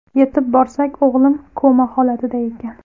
Yetib borsak, o‘g‘lim koma holatida ekan.